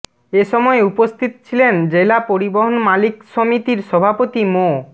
এ সময় উপস্থিত ছিলেন জেলা পরিবহন মালিক সমিতির সভাপতি মো